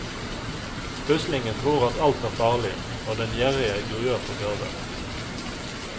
Uslingen tror at alt er farlig, og den gjerrige gruer for gaver.